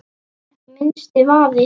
Ekki minnsti vafi.